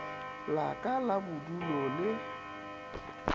la ka la bodulo le